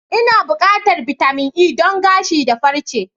Ina buƙatar bitamin E don gashi da farche.